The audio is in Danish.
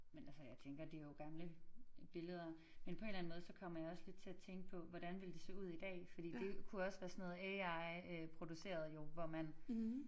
Men altså jeg tænker det jo gamle billeder men på en eller anden måde så kommer jeg også lidt til at tænke på hvordan ville det se ud i dag fordi det kunne også være sådan noget AI øh produceret jo hvor man